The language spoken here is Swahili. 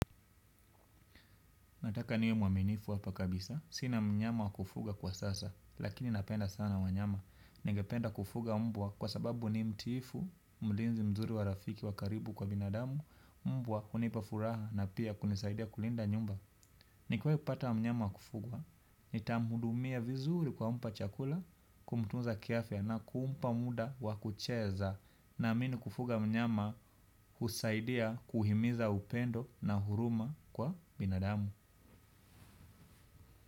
Nataka niwe mwaminifu hapa kabisa. Sina mnyama wakufuga kwa sasa, lakini napenda sana wanyama. Ningependa kufuga mbwa kwa sababu ni mtiifu mlinzi mzuri wa rafiki kwa binadamu mbwa hunipa furaha na pia kunisaidia kulinda nyumba. Nikiwai pata mnyama wakufuga, nitamuhudumia vizuri kwa kumpa chakula, kumtunza ki afya na kumpa muda wakucheza. Naami kufuga mnyama husaidia kuhimiza upendo na huruma kwa binadamu.